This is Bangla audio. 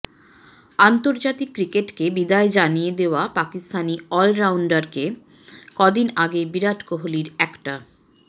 আন্তর্জাতিক ক্রিকেটকে বিদায় জানিয়ে দেওয়া পাকিস্তানি অলরাউন্ডারকে কদিন আগে বিরাট কোহলির একটা